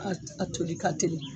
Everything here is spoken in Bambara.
K'a a toli ka teli